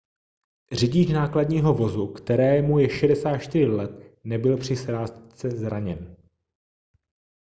řidič nákladního vozu kterému je 64 let nebyl při srážce zraněn